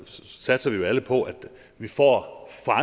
satser vi jo alle på at vi får